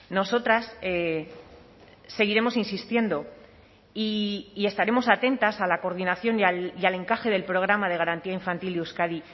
nosotras seguiremos insistiendo y estaremos atentas a la coordinación y al encaje del programa de garantía infantil de euskadi